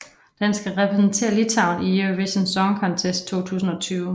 Den skal repræsentere Litauen i Eurovision Song Contest 2020